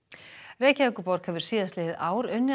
Reykjavíkurborg hefur síðastliðið ár unnið að